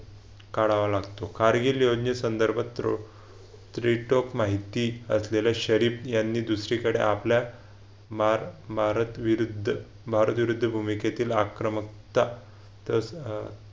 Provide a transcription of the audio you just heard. काढावा लागतो. कारगिल योजने संदर्भ rate of माहिती असलेल्या शरीफ यांनी दुसरीकडे आपल्या भारत भारत विरुद्ध भारत विरुद्ध भूमिकेतील आक्रमकता